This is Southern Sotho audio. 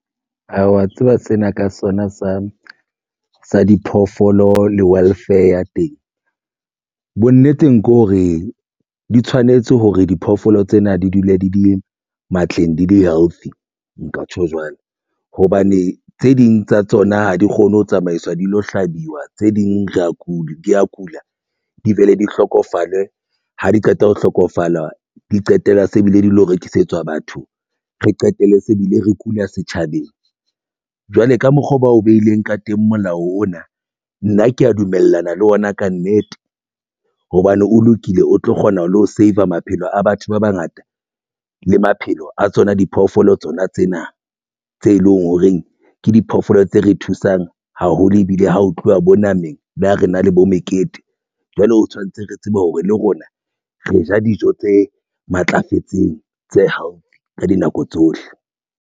Aa wa tseba sena sa diphoofolo le welfare ya teng bonneteng ke hore di tshwanetse hore diphoofolo tsena di dule di le matleng di le healthy. Nka tjho jwalo hobane tse ding tsa tsona ha di kgone ho tsamaiswa di lo hlabiwa tse ding di ya kula di be le di hlokofale ha di qeta ho hlokofala di qetella se bile di lo rekisetswa batho. Re qetelle se bile re kula setjhabeng. Jwale ka mokgwa oo ba o beileng ka teng molao ona na keya dumellana le ona kannete hobane o lokile o tlo kgona le ho saver maphelo a batho ba bangata le maphelo a tsona diphoofolo tsona tsena tse leng horeng ke diphoofolo tse re thusang haholo ebile ha ho tluwa bo nameng le ha re na le bo mekete jwalo. Tshwantse re tsebe hore le rona re ja dijo tse matlafetseng tse healthy ka dinako tsohle.